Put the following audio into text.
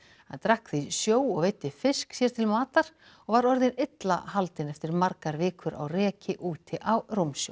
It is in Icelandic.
hann drakk því sjó og veiddi fisk sér til matar og var orðinn illa haldinn eftir margar vikur á reki úti á rúmsjó